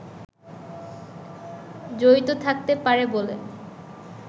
জড়িত থাকতে পারে বলে